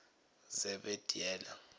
zebediela